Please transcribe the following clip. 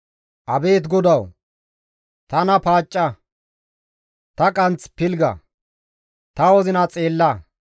Abeet GODAWU! Tana paacca; ta qanth pilgga; ta wozina xeella;